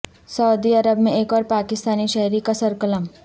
سعودی عرب میں ایک اور پاکستانی شہری کا سرقلم